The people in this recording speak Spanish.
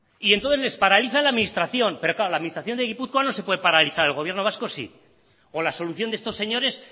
y entonces les paraliza la administración pero claro la administración de gipuzkoa no se puede paralizar el gobierno vasco sí o la solución de estos señores